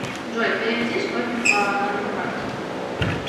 джой переведи сотню по номеру карты